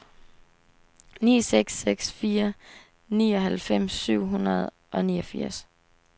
ni seks seks fire nioghalvfems syv hundrede og niogfirs